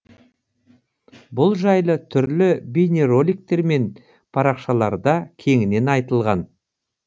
бұл жайлы түрлі бейнероликтер мен парақшаларда кеңінен айтылған